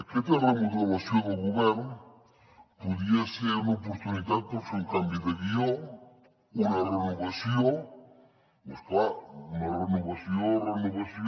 aquesta remodelació del govern podria ser una oportunitat per fer un canvi de guió una renovació però és clar una renovació renovació